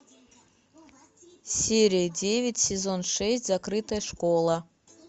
серия девять сезон шесть закрытая школа